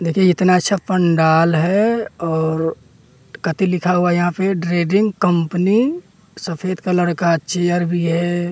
देखिए इतना अच्छा पंडाल है और कति लिखा हुआ है यहाँ पे ड्रेडिंग कंपनी सफेद कलर का चेयर भी है।